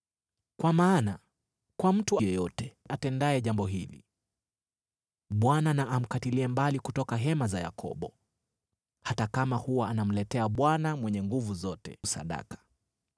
Kwa maana kwa mtu yeyote atendaye jambo hili, Bwana na amkatilie mbali kutoka hema za Yakobo, hata kama huwa anamletea Bwana Mwenye Nguvu Zote sadaka.